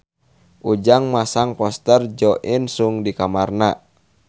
Ujang masang poster Jo In Sung di kamarna